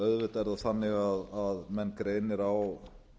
auðvitað er það þannig að menn greinir á